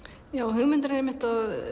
hugmyndin er einmitt